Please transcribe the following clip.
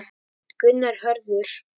Gunnar Hörður.